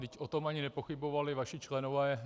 Vždyť o tom ani nepochybovali vaši členové.